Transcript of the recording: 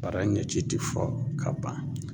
Bara ɲɛci ti fɔ ka ban